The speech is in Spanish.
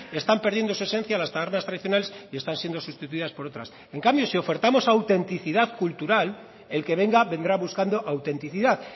están perdiendo su esencia en las tabernas tradicionales y están siendo sustituidas por otras en cambio si ofertamos autenticidad cultural el que venga vendrá buscando autenticidad